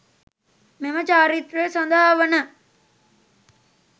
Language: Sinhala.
මෙම චාරිත්‍රය සඳහා වන